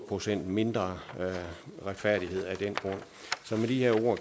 procent mindre retfærdighed